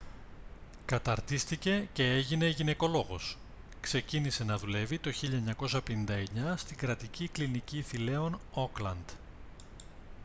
καταρτίστηκε και έγινε γυναικολόγος ξεκίνησε να δουλεύει το 1959 στην κρατική κλινική θηλέων auckland